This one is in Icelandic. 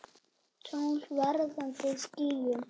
Tungl vaðandi í skýjum.